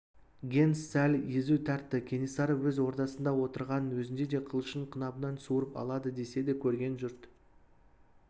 генс сәл езу тартты кенесары өз ордасында отырғанның өзінде де қылышын қынабынан суырып алады деседі көрген жұрт